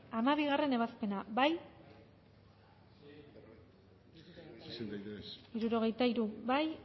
hamabigarrena ebazpena bozkatu dezakegu bozketaren emaitza onako izan da hirurogeita hamalau